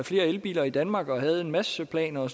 flere elbiler i danmark og man havde en masse planer og